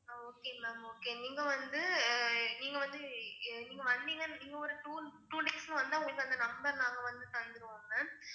ஆஹ் okay ma'am okay நீங்க வந்து அஹ் நீங்க வந்து நீங்க வந்தீங்கன்னா நீங்க ஒரு two days ல வந்தா உங்களுக்கு அந்த number நாங்க வந்து தந்திருவோம் ma'am